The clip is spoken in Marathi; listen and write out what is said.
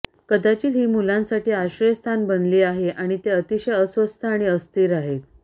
कदाचित ही मुलांसाठी आश्रयस्थान बनली आहे आणि ते अतिशय अस्वस्थ आणि अस्थिर आहेत